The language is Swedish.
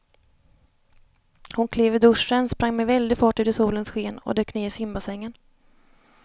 Hon klev ur duschen, sprang med väldig fart ut i solens sken och dök ner i simbassängen.